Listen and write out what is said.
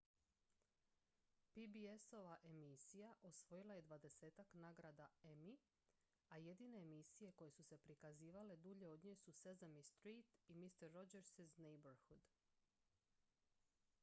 pbs-ova emisija osvojila je dvadesetak nagrada emmy a jedine emisije koje su se prikazivale dulje od nje su sesame street i mister rogers' neighborhood